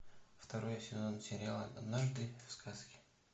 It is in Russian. второй сезон сериала однажды в сказке